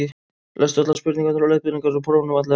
lestu allar spurningar og leiðbeiningar í prófinu vandlega